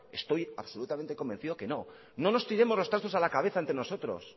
estoy absolutamente convencido que no no nos tiremos los trastos a la cabeza entre nosotros